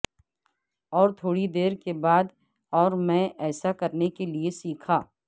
اور تھوڑی دیر کے بعد اور میں ایسا کرنے کے لئے سیکھا